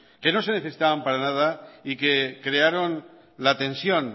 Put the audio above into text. que no se necesitaban para nada y que crearon la tensión